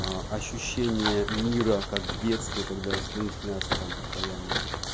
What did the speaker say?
а ощущение мира как в детстве когда сны снятся там постоянно